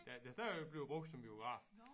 Ja der stadigvæk bliver brugt som biograf